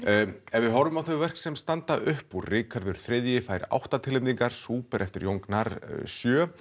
ef við horfum á þau verk sem standa upp úr Ríkharður þriðji fær átta tilnefningar Súper eftir Jón Gnarr sjö